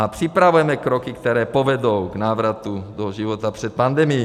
A připravujeme kroky, které povedou k návratu do života před pandemií.